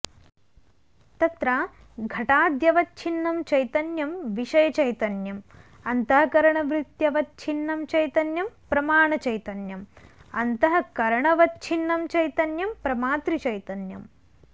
तत्र घटाद्यवच्छिन्नं चैतन्यं विषयचैतन्यम् अन्तःकरणवृत्त्यवच्छिन्नं चैतन्यं प्रमाणचैतन्यम् अन्तःकरणवच्छिन्नं चैतन्यं प्रमातृचैतन्यम्